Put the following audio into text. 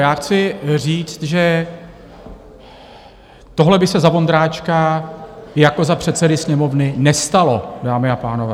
Já chci říct, že tohle by se za Vondráčka jako za předsedy Sněmovny nestalo, dámy a pánové.